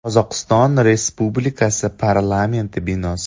Qozog‘iston Respublikasi Parlamenti binosi.